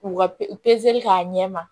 K'u ka k'a ɲɛ ma